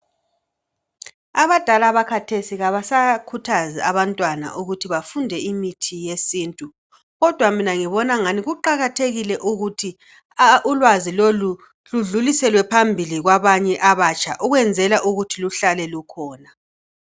Abadala bakhathesi abasakhuthazi abantwana ukuthi bafunde imithi yesintu. Kodwa mina ngibonangani kuqakathekile ukuthi ulwazi lolu ludluliselwe phambili kwabanye abatsha ukwenzela ukuthi luhlale lukhona.